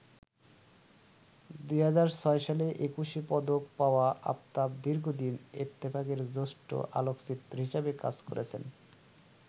২০০৬ সালে একুশে পদক পাওয়া আফতাব দীর্ঘদিন ইত্তেফাকের জ্যেষ্ঠ আলোকচিত্রী হিসাবে কাজ করেছেন।